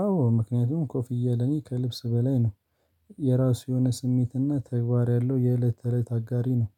አዎ ምክንያቱም ኮፍያ ለኔ ከልብስ በላይ ነው። የራሱ የሆነ ስሜትና ተግባር ያለው የእለት ተእለት አጋሬ ነው።